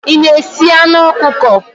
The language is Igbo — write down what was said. Ị na-esi anụ ọkụkọ?